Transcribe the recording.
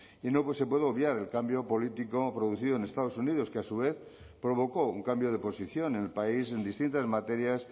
y no se puede obviar el cambio político producido en estados unidos que a su vez provocó un cambio de posición en el país en distintas materias